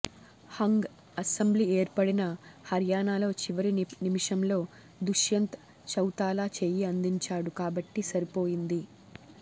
hung assembly ఏర్పడిన హర్యానాలో చివరి నిమిషంలో దుష్యంత్ చౌతాలా చేయి అందించాడు కాబట్టి సరిపోయింది